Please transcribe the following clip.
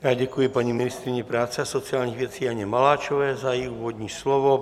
Já děkuji paní ministryni práce a sociálních věcí Janě Maláčové za její úvodní slovo.